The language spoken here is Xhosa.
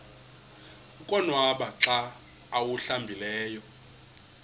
konwaba xa awuhlambileyo